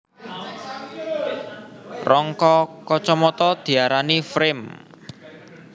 Rangka kacamata diarani frame